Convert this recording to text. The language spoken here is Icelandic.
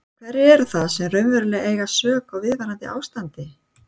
En hverjir eru það sem raunverulega eiga sök á viðvarandi ástandi?